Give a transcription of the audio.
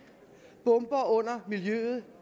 bomber under miljøet